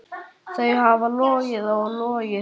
Þau hafa logið og logið.